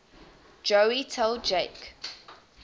joey tell jake